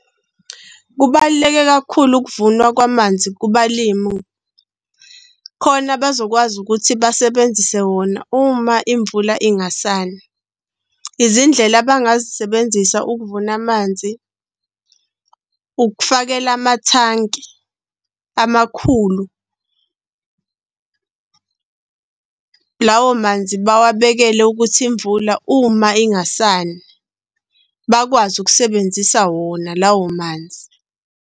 Kubaluleke kakhulu ukuvunwa kwamanzi kubalimu. Khona bazokwazi ukuthi basebenzise wona uma imvula ingasani. Izindlela abangazisebenzisa ukuvuna amanzi ukufakela amathanki amakhulu . Lawo manzi bawabekele ukuthi imvula uma ingasani, bakwazi ukusebenzisa wona lawo manzi.